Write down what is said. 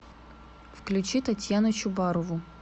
включи татьяну чубарову